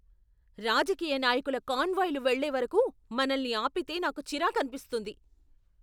రాజకీయ నాయకుల కాన్వాయ్లు వెళ్ళే వరకు మనల్ని ఆపితే నాకు చిరాకనిపిస్తుంది.